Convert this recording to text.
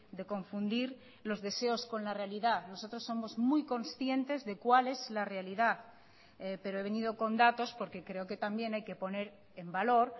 de confundir los deseos con la realidad nosotros somos muy conscientes de cuál es la realidad pero he venido con datos porque creo que también hay que poner en valor